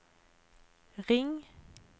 ring